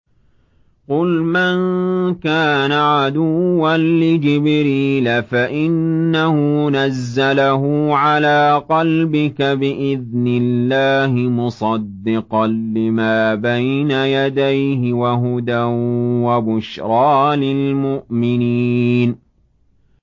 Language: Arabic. قُلْ مَن كَانَ عَدُوًّا لِّجِبْرِيلَ فَإِنَّهُ نَزَّلَهُ عَلَىٰ قَلْبِكَ بِإِذْنِ اللَّهِ مُصَدِّقًا لِّمَا بَيْنَ يَدَيْهِ وَهُدًى وَبُشْرَىٰ لِلْمُؤْمِنِينَ